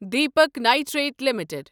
Deepak Nitrite limited